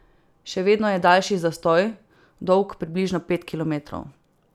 Še vedno je daljši zastoj, dolg približno pet kilometrov.